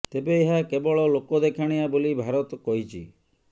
ତେବେ ଏହା କେବଳ ଲୋକ ଦେଖଣିଆ ବୋଲି ଭାରତ କହିଛି